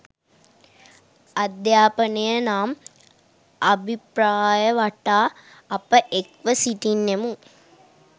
අධ්‍යාපනය නම් අභිප්‍රාය වටා අප එක්ව සිටින්නෙමු